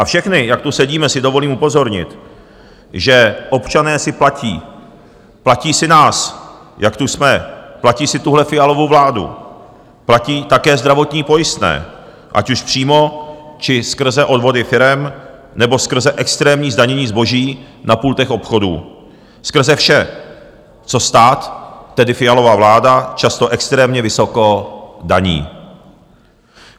A všechny, jak tu sedíme, si dovolím upozornit, že občané si platí - platí si nás, jak tu jsme, platí si tuhle Fialovu vládu, platí také zdravotní pojistné, ať už přímo, či skrze odvody firem nebo skrze extrémní zdanění zboží na pultech obchodů, skrze vše, co stát, tedy Fialova vláda, často extrémně vysoko daní.